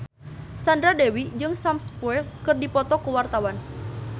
Sandra Dewi jeung Sam Spruell keur dipoto ku wartawan